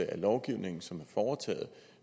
af lovgivningen som er foretaget